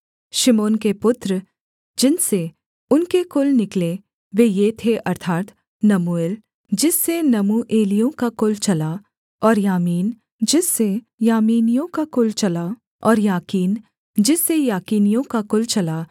शिमोन के पुत्र जिनसे उनके कुल निकले वे ये थे अर्थात् नमूएल जिससे नमूएलियों का कुल चला और यामीन जिससे यामीनियों का कुल चला और याकीन जिससे याकीनियों का कुल चला